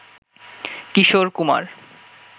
Kishore Kumar